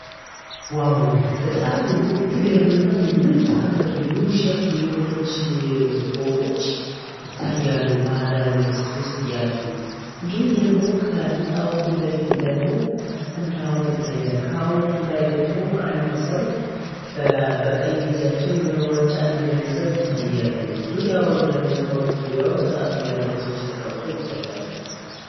ዋው በጣም የምትገርም እና የምታምሪው የሆነ ፎቆች ይታያሉ ባህርዳር ዩኒቨርስቲ ውስጥ ያሉ እንዲሁም ደግሞ አንድ ሀውልት ይታያል ደግሞ አንድ ሰው በቀኝ እጃቸው የሆነ ዋንጫ ነገሬ ሰው ይታያሉ ደግሞ ያወጡ ዙሪያውን መጽሐፍ የሚያነቡ ሰዎች ተቀምጦ ይታያሉ